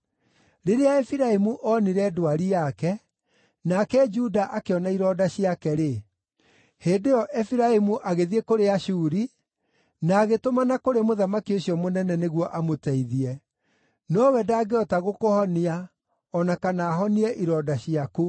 “Rĩrĩa Efiraimu oonire ndwari yake, nake Juda akĩona ironda ciake-rĩ, hĩndĩ ĩyo Efiraimu agĩthiĩ kũrĩ Ashuri, na agĩtũmana kũrĩ mũthamaki ũcio mũnene nĩguo amũteithie. Nowe ndangĩhota gũkũhonia, o na kana ahonie ironda ciaku.